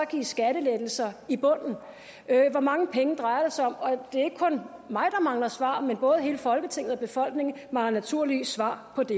i skattelettelser i bunden hvor mange penge drejer det sig om det er ikke kun mig der mangler svar men både hele folketinget og befolkningen mangler naturligvis svar på det